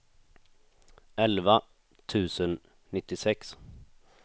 elva tusen nittiosex